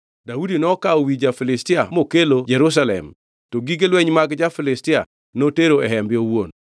Daudi nokawo wi ja-Filistia mokelo Jerusalem, to gige lweny mag ja-Filistia notero e hembe owuon.